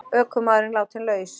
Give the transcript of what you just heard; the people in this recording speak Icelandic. Ökumaðurinn látinn laus